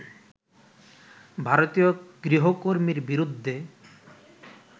ভারতীয় গৃহকর্মীর বিরুদ্ধে